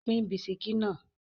Pín bisikí náà!